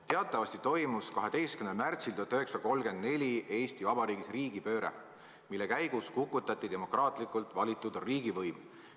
Teatavasti toimus 12. märtsil 1934 Eesti Vabariigis riigipööre, mille käigus kukutati demokraatlikult valitud riigivõim.